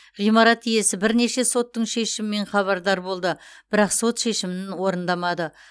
ғимарат иесі бірнеше соттың шешімімен хабардар болды бірақ сот шешімін орындамады